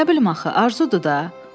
Nə bilim axı, arzudur da.